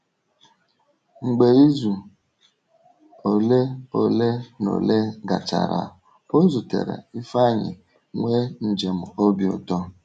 Mgbe izu ole ole na ole gachara, ọ zutere Ifeanyi ma nwee njem obi ụtọ.